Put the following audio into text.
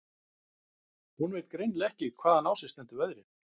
Hún veit greinilega ekki hvaðan á sig stendur veðrið.